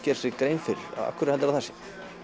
gera sér grein fyrir af hverju heldurðu að það sé